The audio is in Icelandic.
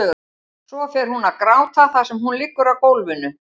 Svo fer hún að gráta þar sem hún liggur á gólfinu.